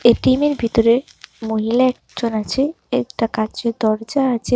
এটিএমের ভিতরে মহিলা একজন আছে একটা কাচের দরজা আচে।